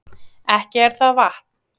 Ekki er það vatn